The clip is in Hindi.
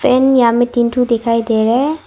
तीन ठो दिखाई दे रहा है।